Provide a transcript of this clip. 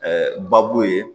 babu ye